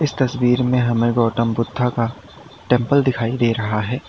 इस तस्वीर में हमें गौतम बुद्ध का टेंपल दिखाई दे रहा है।